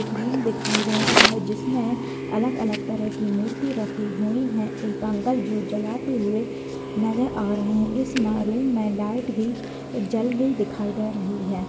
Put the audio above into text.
एक रूम दिखाई दे रहा है जिसमें अलग-अलग तरह की मूर्ती रखी हुई हैं एक अंकल जोत जलाते हुए नजर आ रहे है इस में रूम में लाइट भी जली दिखाई दे रही है।